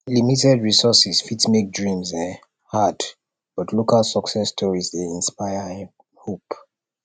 limited resources fit make dreams um hard but local success stories dey inspire um hope